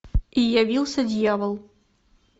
и явился дьявол